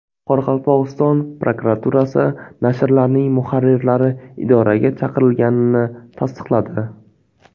Qoraqalpog‘iston prokuraturasi nashrlarning muharrirlari idoraga chaqirilganini tasdiqladi.